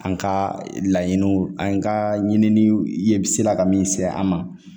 An ka laɲiniw an ka ɲininiw ye b sela ka min se an ma